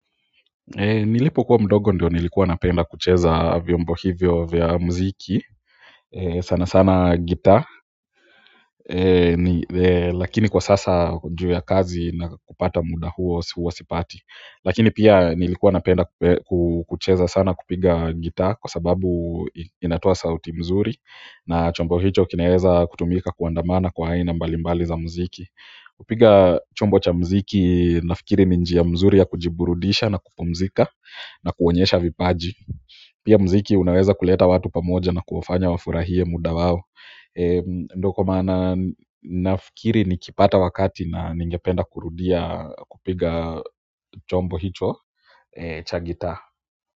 Nilipokuwa mdogo ndio nilikuwa napenda kucheza vyombo hivyo vya mziki sana sana gitaa lakini kwa sasa juu ya kazi na kupata muda huo huwa sipati lakini pia nilikuwa napenda kucheza sana kupiga gitaa kwa sababu inatoa sauti mzuri na chombo hicho kinaeza kutumika kuandamana kwa aina mbalimbali za mziki kupiga chombo cha mziki nafikiri ni njia mzuri ya kujiburudisha na kupumzika na kuonyesha vipaji, pia mziki unaweza kuleta watu pamoja na kuwafanya wafurahie muda wao ndio kwa maana nafikiri nikipata wakati ningependa kurudia kupiga chombo hicho cha gitaa.